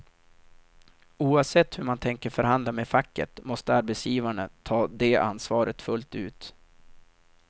Oavsett hur man tänker förhandla med facket måste arbetsgivarna ta det ansvaret fullt ut.